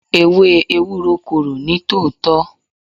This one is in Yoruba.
Ewé Ewúro korò ní tòótọ́.